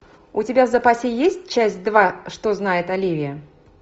у тебя в запасе есть часть два что знает оливия